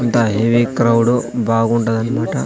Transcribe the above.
అంతా ఇది క్రౌడ్ బాగుంటది అన్మాట.